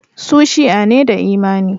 Su Shi'a ne da imani.